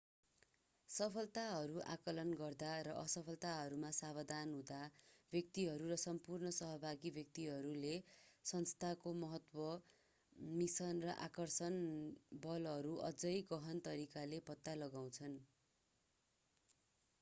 सफलताहरू आँकलन गर्दा र असफलताहरूमा सावधान हुँदा व्यक्तिहरू र सम्पूर्ण सहभागी व्यक्तिहरूले संस्थाको महत्त्व मिसन र आकर्षक बलहरू अझै गहन तरिकाले पत्ता लगाउँछन्